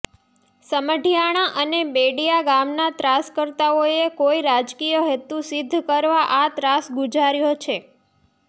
સમઢિયાળા અને બેડિયા ગામના ત્રાસકર્તાઓએ કોઇ રાજકીય હેતુ સિદ્ધ કરવા આ ત્રાસ ગુજાર્યો છે